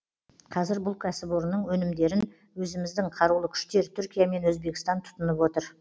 қазір бұл кәсіпорынның өнімдерін өзіміздің қарулы күштер түркия мен өзбекстан тұтынып отыр